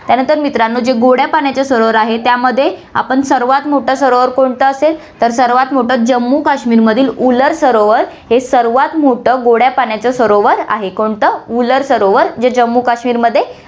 त्यानंतर मित्रांनो, जे गोड्या पाण्याचे सरोवर आहे, त्यामध्ये आपण सर्वात मोठं सरोवर कोणतं असेल, तर सर्वात मोठं जम्मू काश्मीरमधील उलर सरोवर, हे सर्वात मोठं गोड्या पाण्याचं सरोवर आहे, कोणतं, उलर सरोवर जे जम्मू काश्मीरमध्ये